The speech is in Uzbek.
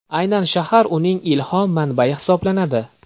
Aynan shahr uning ilhom manbai hisoblanadi.